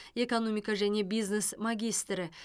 экономика және бизнес магистрі